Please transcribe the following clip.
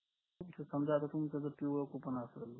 समजा जर तुमचं जर coupon असल